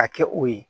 A kɛ o ye